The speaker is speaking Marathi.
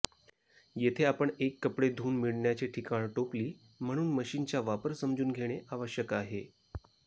येथे आपण एक कपडे धुऊन मिळण्याचे ठिकाण टोपली म्हणून मशीनचा वापर समजून घेणे आवश्यक आहे